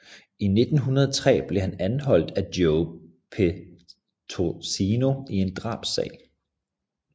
I 1903 blev han anholdt af Joe Petrosino i en drabssag